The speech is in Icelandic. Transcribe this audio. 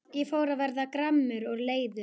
Ég fór að verða gramur og leiður.